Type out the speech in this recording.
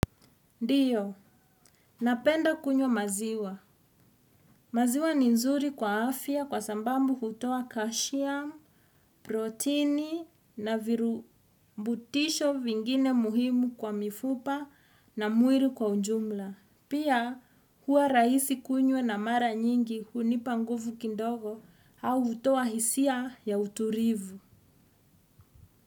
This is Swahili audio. Ndiyo, napenda kunywa maziwa. Maziwa ni nzuri kwa afya kwa sababu hutoa kashiam, protini na virubutisho vingine muhimu kwa mifupa na mwili kwa ujumla. Pia, huwa rahisi kunywa na mara nyingi hunipa nguvu kidongo au hutoa hisia ya utulivu.